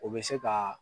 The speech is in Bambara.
O bɛ se ka